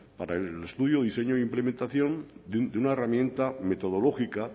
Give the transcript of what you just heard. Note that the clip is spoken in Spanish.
para el estudio diseño e implementación de una herramienta metodológica